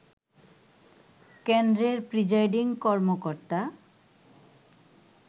কেন্দ্রের প্রিজাইডিং কর্মকর্তা